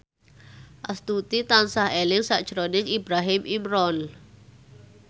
Astuti tansah eling sakjroning Ibrahim Imran